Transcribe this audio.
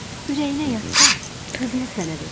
Ürəyinə yatsa, qızımı sənə verərəm.